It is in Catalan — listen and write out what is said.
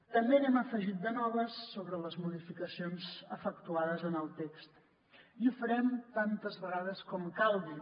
també n’hi hem afegit de noves sobre les modificacions efectuades en el text i ho farem tantes vegades com calgui